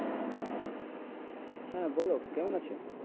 হ্যাঁ বলো কেমন আছো?